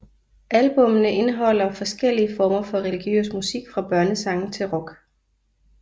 Albumne indeholder forskellige former for religiøs musik fra børnesange til rock